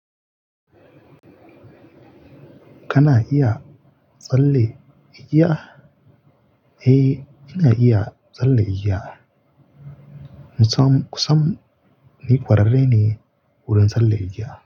Kana iya tsalle igiya? Eh, ina iya tsalle igiya. Musam, kusam ni kwararre ne wurin tsalle igiya.